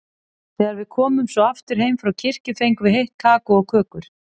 Þegar við komum svo aftur heim frá kirkju fengum við heitt kakó og kökur.